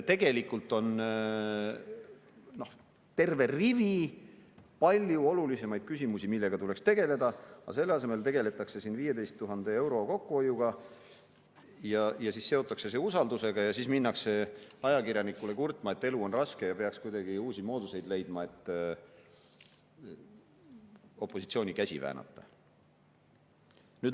Tegelikult on terve rivi palju olulisemaid küsimusi, millega tuleks tegeleda, aga selle asemel tegeldakse 15 000 euro kokkuhoidmisega, siis seotakse see usaldus ja minnakse ajakirjanikule kurtma, et elu on raske ja peaks kuidagi uusi mooduseid leidma, et opositsiooni käsi väänata.